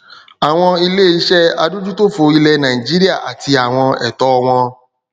àwọn iléiṣẹ adójútòfò ilẹ nàìjíríà àti àwọn ẹtọ wọn